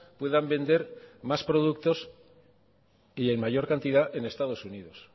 puedan vender más productos y en mayor cantidad en estados unidos